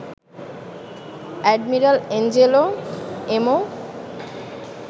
admiral Angelo Emo